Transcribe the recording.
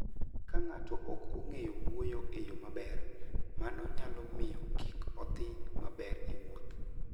Ka ng'ato ok ong'eyo wuoyo e yo maber, mano nyalo miyo kik odhi maber e wuoth.